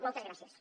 moltes gràcies